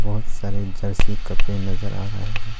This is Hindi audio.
बहुत सारे जर्सी कपड़े नजर आ रहे है।